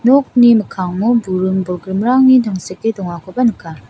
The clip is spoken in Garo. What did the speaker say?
nokni mikkango buring-bolgrimrangni tangseke dongakoba nika.